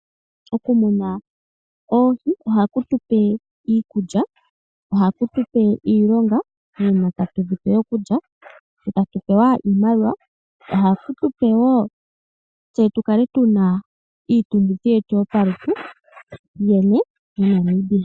Okumuna oohi ohaku tupe iikulya . Ohaku tupe iilonga uuna tatu dhipe okulya , etatu pewa iimaliwa . Ohadhi tupe iitungithilutu moNamibia.